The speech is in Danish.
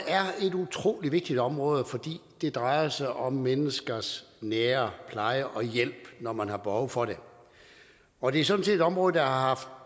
er et utrolig vigtigt område fordi det drejer sig om menneskers nære pleje og hjælp når man har behov for det og det er sådan set et område der har haft